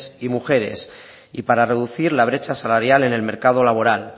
y mujeres y para reducir la brecha salarial en el mercado laboral